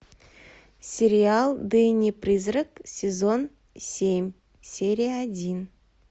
сериал дэнни призрак сезон семь серия один